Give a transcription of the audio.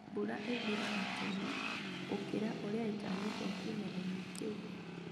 Mbura ĩthiraga tene gũkĩra ũrĩa ĩtanyĩtwo kĩmera-inĩ kĩu